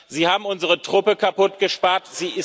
Sie haben unsere Truppe kaputtgespart.